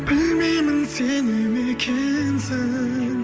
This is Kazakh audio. білмеймін сене ме екенсің